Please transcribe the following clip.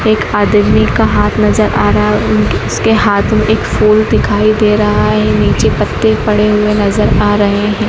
एक आदमी का हाथ नजर आ रहा है उन उसके हाथ में एक फूल दिखाई दे रहा है नीचे पत्ते पड़े हुए नजर आ रहे हैं।